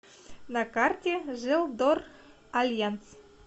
на карте желдоральянс